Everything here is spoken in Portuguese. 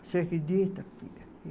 Você acredita, filha?